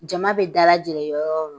Jama bɛ dalajɛ yɔrɔ o yɔrɔ